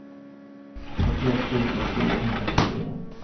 trettioett tusen fyrahundraåttiofyra